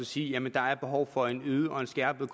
sige at der er behov for en øget og en skærpet